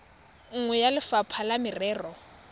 nngwe ya lefapha la merero